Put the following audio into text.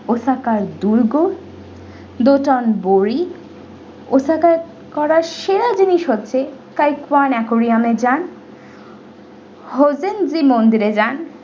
osaka এর দুর্গ dotan borikosaka এর করা সেরা জিনিস হচ্ছে kai corona aquarium এ যান hojenji মন্দিরে যান।